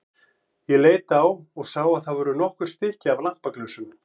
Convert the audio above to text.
Ég leit á og sá að það voru nokkur stykki af lampaglösum.